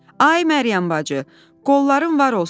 Ay Məryəm bacı, qolların var olsun.